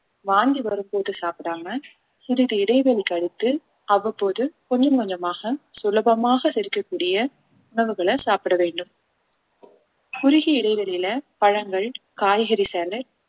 வாந்தி வரும்போது சாப்பிடாமல் சிறிது இடைவெளி கழித்து அவ்வப்போது கொஞ்சம் கொஞ்சமாக சுலபமாக செரிக்கக்கூடிய உணவுகளை சாப்பிட வேண்டும் குறுகிய இடைவெளியில பழங்கள் காய்கறி salad